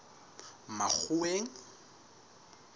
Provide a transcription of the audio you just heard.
makgoweng